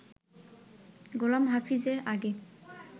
গোলাম হাফিজ এর আগে